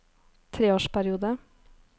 treårsperiode